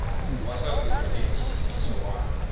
wa swakudya na ntiyisiso wa